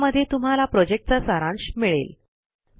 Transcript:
ज्यामध्ये तुम्हाला प्रॉजेक्टचा सारांश मिळेल